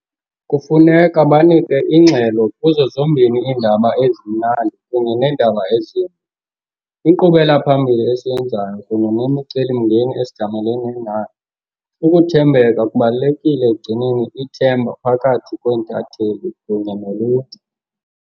Kufuneka banike ingxelo kuzo zombini iindaba ezimnandi kunye neendaba ezimbi, inkqubela-phambili esiyenzayo kunye nemicelimngeni esijamelana nayo. Ukuthembeka kubalulekile ekugcineni ithemba phakathi kweentatheli kunye noluntu.